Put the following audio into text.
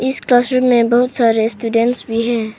इस क्लासरूम में बहुत सारे स्टूडेंट भी हैं।